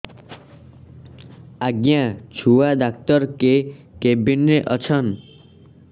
ଆଜ୍ଞା ଛୁଆ ଡାକ୍ତର କେ କେବିନ୍ ରେ ଅଛନ୍